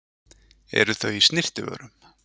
Eru þau í snyrtivörum?